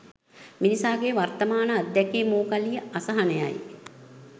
මිනිසාගේ වර්තමාන අද්දැකීම වූ කලී අසහනයයි.